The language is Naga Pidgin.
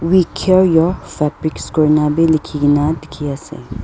we care your fabrics kurina bi likhikaena dikhiase.